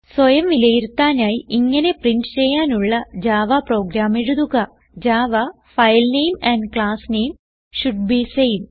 സ്വയം വിലയിരുത്താനായി ഇങ്ങനെ പ്രിന്റ് ചെയ്യാനുള്ള ജാവ പ്രോഗ്രാം എഴുതുക Java file name and class name should be സാമെ